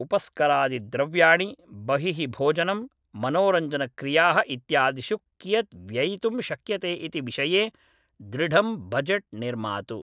उपस्करादिद्रव्याणि, बहिः भोजनं, मनोरञ्जनक्रियाः इत्यादिषु कियत् व्ययितुं शक्यते इति विषये दृढं बड्जेट् निर्मातु।